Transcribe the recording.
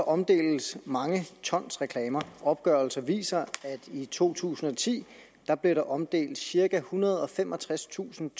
omdeles mange ton reklamer opgørelser viser at i to tusind og ti blev der omdelt cirka ethundrede og femogtredstusind